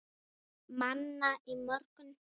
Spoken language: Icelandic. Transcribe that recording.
Manna í morgun.